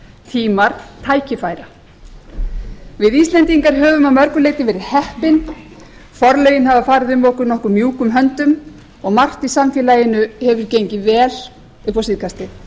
tímar tækifæra við íslendingar höfum að mörgu leyti verið heppin forlögin hafa farið um okkur nokkuð mjúkum höndum og margt í samfélaginu hefur gengið vel upp á síðkastið